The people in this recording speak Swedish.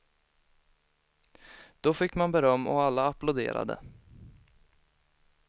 Då fick man beröm och alla applåderade.